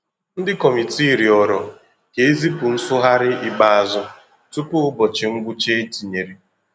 Ndi kọmitii rịọrọ ka e zipụ nsụgharị ikpeazụ tupu ụbọchị ngwụcha e tinyere.